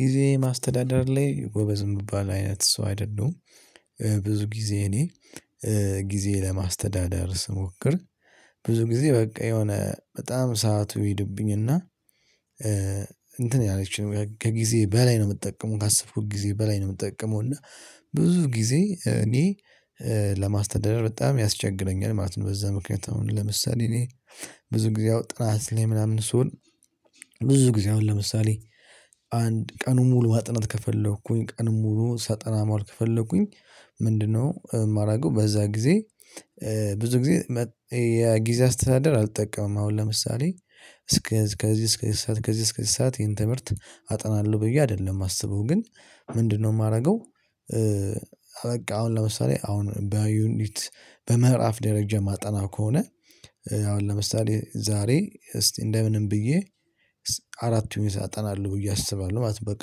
ጊዜ ማስተዳደር ላይ ጎበዝ የሚባል አይነት ሰው አይደለሁም። ብዙ ጊዜ እኔ ጊዜ ለማስተዳደር ስሞክር ብዙ ጊዜ በቃ የሆነ በጣም ሰዓቱ ይሄድብኝና። እንትን ያለችኝ ከጊዜ በላይ ነው የምጠቀመው ካሰብኩት ጊዜ በላይ ነው የምጠቀመው እና ብዙ ጊዜ እኔ ለማስተዳደር በጣም ያስቸግረኛል ማለት ነው። በዛ ምክንያት አሁን ለምሳሌ እኔ ብዙ ጊዜ አሁን ጥናት ላይ ምናምን ስሆን ብዙ ጊዜ አሁን ለምሳሌ አንድ ቀኑን ሙሉ ማጥናት ከፈለኩኝ ቀኑን ሙሉ ሳጠና መዋል ከፈለኩኝ? ምንድነው ማደርገው ጊዜ። ብዙ ጊዜ የጊዜ አስተዳደር አልጠቀምም አሁን ለምሳሌ እስከ ከዝህ እስከዝህ ሰዓት ከዝህ እስከዝህ ሰዓት ይሄን ትምህርት አጠናለሁ ብዬ አይደለም የማስበው ግን ምንድን ነው የማደርገው? በቃ አሁን ለምሳሌ አሁን በዩኒት በምዕራፍ ደረጃ የማጠናው ከሆነ አሁን ለምሳሌ ዛሬ እስቲ እንደምንም ብዬ አራቱን አጠናለሁ ብዬ አስባለሁ ነው። በቃ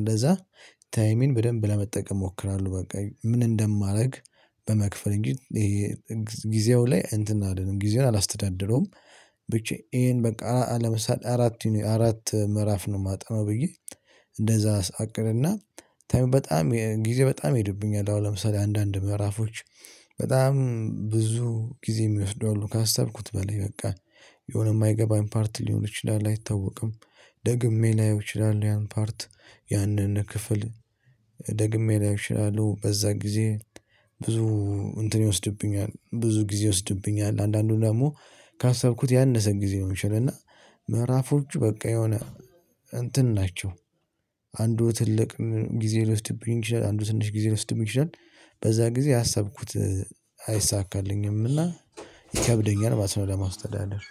እንደዛ ታይሚን በደንብ ለመጠቀም እሞክራለሁ። በቃ ምን እንደማደርግ በመክፈል እንጂ ይሄ ጊዜው ላይ እንትን አይደለም ጊዜውን አላስተዳደረውም። ብቻ ይሄን በቃ አለመሳል አራት አራት ምዕራፍ ነው የማጠናው ብዬ እንደዛ አቅድና በጣም ጊዜ በጣም ይሄድብኛል። አሁን ለምሳሌ አንዳንድ ምዕራፎች በጣም ብዙ ጊዜ የሚወስደው አሉ ካሰብኩት በላይ በቃ የሆነ የማይገባኝ ፓርት ሊሆን ይችላል አይታወቅም። ደግሜ ላይው ይችላል ያን ፓርት ያንን ክፍል ደግሜ ላይ እችላለሁ። በዛ ጊዜ ብዙ እንትን ይወስድብኛል ብዙ ጊዜ ይወስድብኛል። አንዳንዱን፤ ደግሞ ካሰብኩት ያነሰን ጊዜ ነው የሚችለው። እና ምዕራፎቹ በቃ የሆነ እንትን ናቸው። አንዱ ትልቅ ጊዜ ልውስድ ብንችል አንዱ ስንሽ ጊዜ ልስድም ይችላል። በዛ ጊዜ ያሰብኩት አይሳካልኝም። እና ይከብደኛል ባስብ ለማስተዳደር